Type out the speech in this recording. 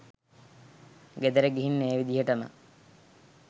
ගෙදර ගිහින් ඒ විදිහටම